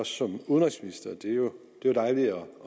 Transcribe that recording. som udenrigsminister det er jo dejligt at